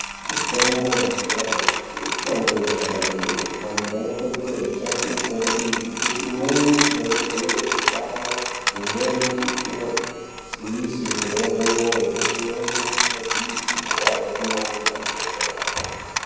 Mitombo yemazuwa anyamashi mitombo inoshanda kwemene. Antu anokurudzirwe kushandise mitombo iyi ngekuti imweni inowedzere utano, imweni inodzivise kurova kwemwoyo. imweni inodzivise kurwadza kwengqondo, antu opora.